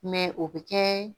o bɛ kɛ